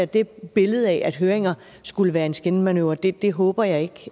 det billede af at høringer skulle være en skinmanøvre det det håber jeg ikke